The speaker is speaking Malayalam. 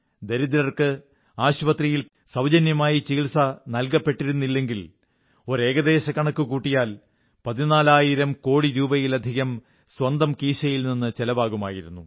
ദരിദ്രർക്ക് ആശുപത്രിയിൽ സൌജന്യമായി ചികിത്സ നല്കപ്പെട്ടിരുന്നില്ലെങ്കിൽ ഒരു ഏകദേശ കണക്കു കൂട്ടിയാൽ പതിനാലായിരം കോടി രൂപയിലധികം സ്വന്തം കീശയിൽ നിന്ന് ചിലവാകുമായിരുന്നു